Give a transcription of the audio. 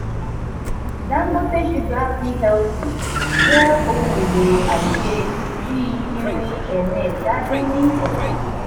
dangote sugar plc jẹ ohun elo aise bí irin ẹ̀rin èta dín ní ọta.